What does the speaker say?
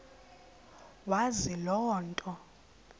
wazi loo nto